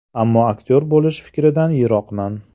Ammo aktyor bo‘lish fikridan yiroqman.